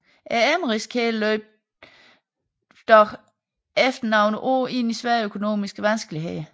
Emmerys kæden løb dog efter nogle år ind i svære økonomiske vanskeligheder